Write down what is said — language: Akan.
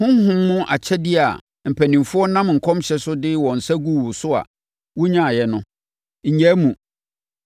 Honhom mu akyɛdeɛ a mpanimfoɔ nam nkɔmhyɛ so de wɔn nsa guu wo so a wonyaeɛ no, nnyaa mu.